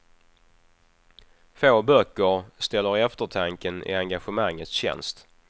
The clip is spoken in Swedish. Få böcker ställer eftertanken i engagemangets tjänst.